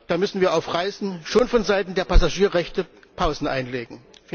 Da müssen wir auf Reisen schon vonseiten der Passagierrechte Pausen einlegen.